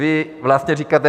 Vy vlastně říkáte.